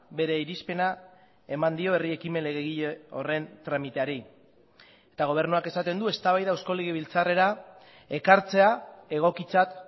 bere irizpena eman dio herri ekimen legegile horren tramiteari eta gobernuak esaten du eztabaida eusko legebiltzarrera ekartzea egokitzat